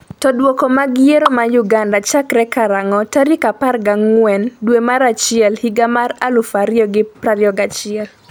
to Duoko mag yiero ma Uganda chakre karang'o tarik 14 dwe mar achiel higa mar 2021?